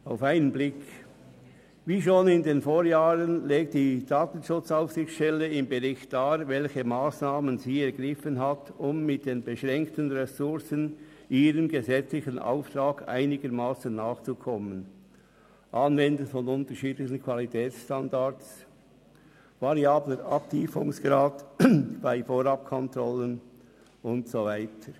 Auf einen Blick: Wie schon in den Vorjahren legt die DSA im Bericht dar, welche Massnahmen sie ergriffen hat, um trotz ihrer beschränkten Ressourcen ihrem gesetzlichen Auftrag einigermassen nachzukommen: Anwendung unterschiedlicher Qualitätsstandards, variabler Abtiefungsgrad bei Vorabkontrollen und so weiter.